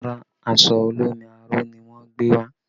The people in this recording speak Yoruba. Rárá, aṣọ olómi aró ni wọn gbé wá